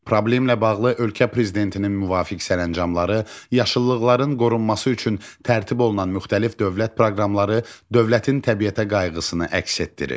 Problemlə bağlı ölkə prezidentinin müvafiq sərəncamları, yaşıllıqların qorunması üçün tərtib olunan müxtəlif dövlət proqramları dövlətin təbiətə qayğısını əks etdirir.